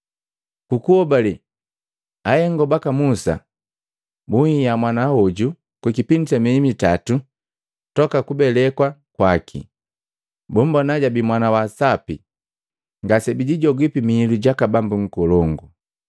Ku kuhobale akahengo baka Musa bunhiya mwana hoju ku kipindi sa mieyi itato toka kubelekwa kwaki. Bumbona jabii mwana wa sapi, ngase bijijogipi mihilu gaka bambu nkolongu.